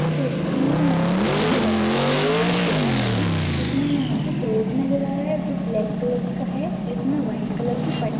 तस्वीर में हमे बैकग्राउंड नज़र आ रहा है जिसमे यहाँ पे एक रोड नज़र आ रहा है जो ब्लैक कलर का है इसमें व्हाइट कलर की पट्ट--